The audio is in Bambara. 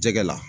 Jɛgɛ la